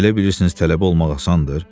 Elə bilirsiniz tələbə olmaq asandır?